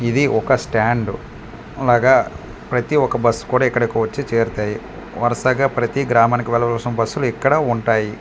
ఇది ఒక స్టాండ్ అలాగా ప్రతి ఒక్క బస్సు కూడా ఇక్కడికి వచ్చి చేరుతాయి వరుసగా ప్రతి గ్రామానికి వెళ్లవలసిన బస్సులు ఇక్కడ ఉంటాయి.